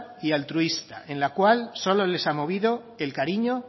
y altruista en la cual solo les ha movido el cariño